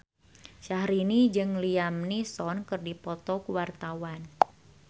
Syahrini jeung Liam Neeson keur dipoto ku wartawan